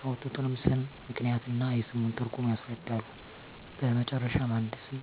ያወጡትንም ስም ምክንያት እና የስሙን ትርጉም ያስረዳሉ በመጨረሻም አንድ ስም